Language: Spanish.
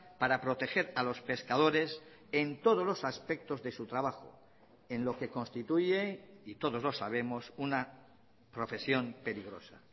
para proteger a los pescadores en todos los aspectos de su trabajo en lo que constituye y todos los sabemos una profesión peligrosa